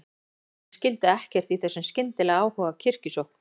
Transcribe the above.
Gestgjafar mínir skildu ekkert í þessum skyndilega áhuga á kirkjusókn.